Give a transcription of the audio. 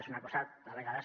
és una cosa a vegades